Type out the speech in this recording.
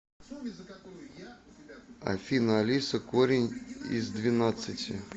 афина алиса корень из двенадцати